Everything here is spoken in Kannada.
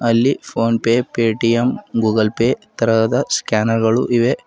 ಅಲ್ಲಿ PhonePe Paytm Google Pay ತರಹದ ಸ್ಕ್ಯಾನರ್ ಗಳು ಇವೆ.